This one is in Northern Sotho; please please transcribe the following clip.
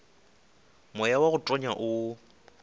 moya wa go tonya o